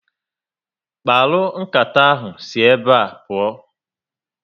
Mkparu nkata ahụ si ébé pụọ